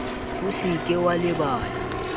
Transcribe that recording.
o se ke wa lebala